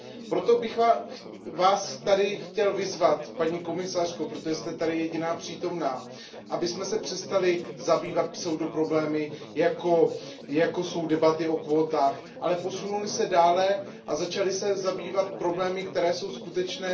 Proto bych vás tady chtěl vyzvat, paní komisařko, protože jste tady jediná přítomná, abychom se přestali zabývat pseudoproblémy, jako jsou debaty o kvótách, ale posunuli se dále a začali se zabývat problémy, které jsou skutečné.